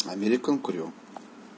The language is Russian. американ крю